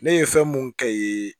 Ne ye fɛn mun kɛ